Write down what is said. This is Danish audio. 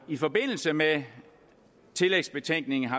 i forbindelse med tillægsbetænkningen